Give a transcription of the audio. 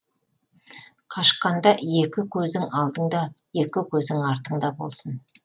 қашқанда екі көзің алдыңда екі көзің артыңда болсын